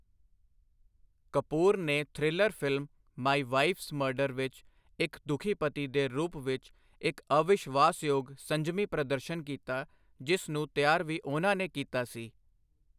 ਕਪੂਰ ਨੇ thriller film 'my wife's murder 'ਵਿੱਚ ਇੱਕ ਦੁੱਖੀ ਪਤੀ ਦੇ ਰੂਪ ਵਿੱਚ ਇੱਕ ਅਵਿਸ਼ਵਾਸ਼ਯੋਗ ਸੰਜਮੀ ਪ੍ਰਦਰਸ਼ਨ ਕੀਤਾ, ਜਿਸ ਨੂੰ ਤਿਆਰ ਵੀ ਉਹਨਾਂ ਨੇ ਕੀਤਾ ਸੀ।